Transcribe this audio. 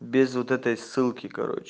без вот этой ссылки короч